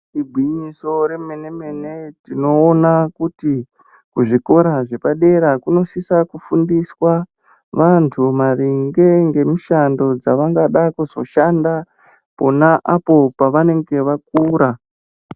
Igwinyiso remene mene tinoona kuti kuzvikora zvepadera kunosisa kufundiswa vantu maringe ngemushando dzavangada kuzoshanda pona apo pavanenge vakura.